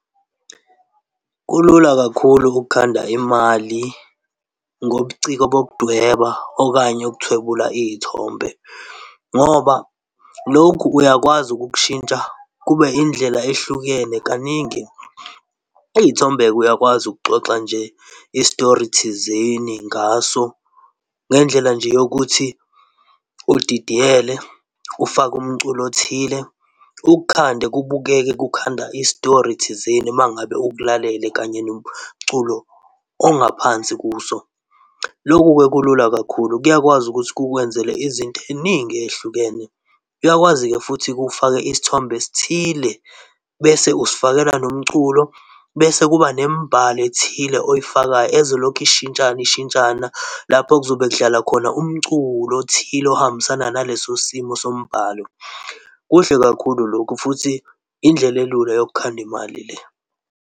Kulula kakhulu ukhanda imali ngobuciko bokudweba okanye ukuthwebula izithombe ngoba lokhu uyakwazi ukukushintsha kube indlela ehlukene kaningi. Izithombe-ke uyakwazi ukuxoxa nje istori thizeni ngaso ngendlela nje yokuthi udidiyele, ufake umculo othile ukhande kubukeke, kukhandwa istori thizeni uma ngabe ukulalele kanye nomculo ongaphansi kuso. Loku-ke kulula kakhulu kuyakwazi ukuthi kukwenzele izinto eziningi ezihlukene. Kuyakwazi-ke futhi kufakwe isithombe esithile bese usifakela nomculo bese kuba nemibhalo ethile oyifakayo ezolokhu ishintshana ishintshana lapho kuzobe kudlala khona umculo othile ohambisana naleso simo sombhalo. Kuhle kakhulu lokhu futhi indlela elula yokukhanda imali le.